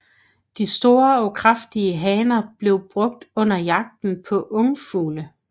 De store og kraftige hanner blev brugt under jagten på ungfugle